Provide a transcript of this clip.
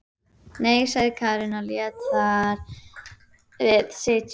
Nei, sagði Karen og lét þar við sitja.